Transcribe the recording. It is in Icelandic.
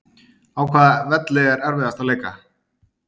Á hvaða velli er erfiðast að leika?